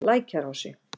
Lækjarási